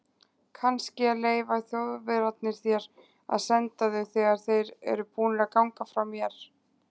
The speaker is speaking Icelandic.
Kannske leyfa Þjóðverjarnir þér að senda þau þegar þeir eru búnir að ganga frá mér.